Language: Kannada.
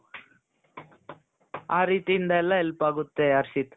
ಆ ರೀತಿಯಿಂದೆಲ್ಲಾ help ಆಗುತ್ತೆ ಹರ್ಷಿತ್ .